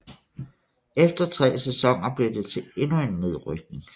Efter tre sæsoner blev det til endnu en nedrykning